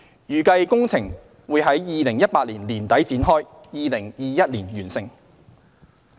預計工程於2018年年底展開，並於2021年完成。